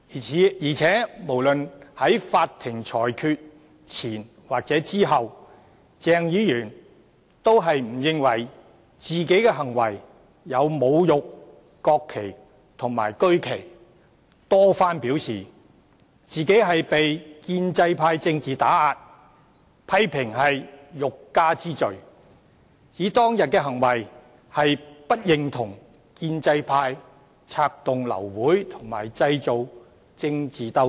再者，無論在法庭裁決前或後，鄭議員也不認為自己的行為屬侮辱國旗及區旗，多番表示自己被建制派政治打壓，批評是欲加之罪，指當天的行為是為了表示不認同建制派策動流會和製造政治鬥爭。